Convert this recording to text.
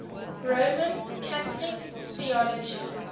roman catholic theology